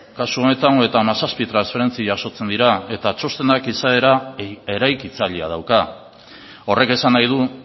kasu honetan hogeita hamazazpi transferentzia jasotzen dira eta txostenak izaera eraikitzailea dauka horrek esan nahi du